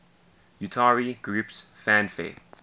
utari groups fanfare